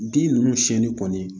Bin ninnu siɲɛni kɔni